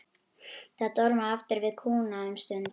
Það dormaði aftan við kúna um stund.